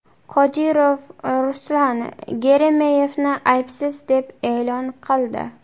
Qodirov Ruslan Geremeyevni aybsiz deb e’lon qildi.